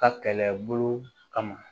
Ka kɛlɛbolo kama